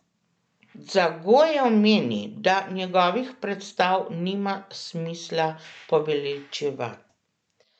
Dzagojev meni, da njegovih predstav nima smisla poveličevati.